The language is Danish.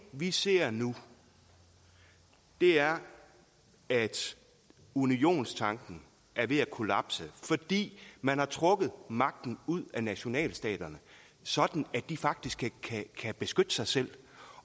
vi ser nu er at unionstanken er ved at kollapse fordi man har trukket magten ud af nationalstaterne sådan at de faktisk ikke kan beskytte sig selv